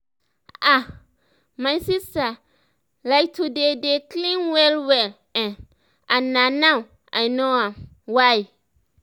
ah my sister like to dey dey clean well well[um]and na now i know um why